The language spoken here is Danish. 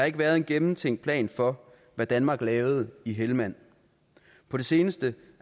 ikke været en gennemtænkt plan for hvad danmark lavede i helmand på det seneste